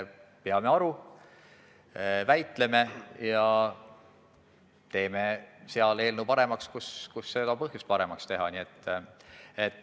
Peame aru, väitleme ja teeme eelnõu paremaks, kus seda on põhjust paremaks teha.